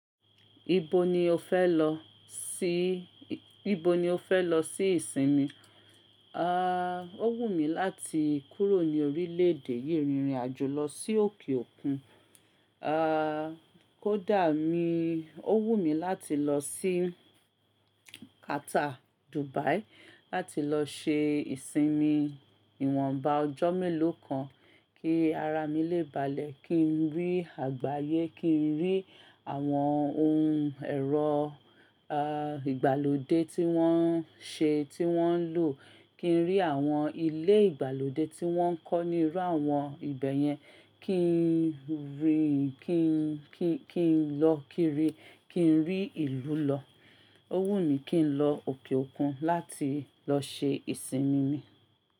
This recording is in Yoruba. Ibo ni o fẹ́ lọ sí, ibo ni o fẹ́ lọ sí ìsinmi? Ó wù mí láti kúrò ní orílẹ̀ èdè yìí, rìnrìn àjò lọ sí òkè òkun. Kó dà mí, ó wù mí láti lọ sí Qatar, Dubai láti lọ ṣe ìsinmi ìwọ̀nba ọjọ́ mélòó kan kí ara mi lè balẹ̀, kí n rí àgbáyé, kí n rí àwọn ohun ẹ̀rọ, ìgbàlódé tí wọ́n ń ṣe, tí wọ́n ń lò, kí n rí àwọn ilé ìgbàlódé tí wọ́n ń kọ́ níru àwọn ibẹ̀ yẹn, kí n rí, kí n lọ kí rí, kí n rí ìlú lọ. Ó wù mí kí n lọ òkè òkun láti lọ ṣe ìsinmi mi.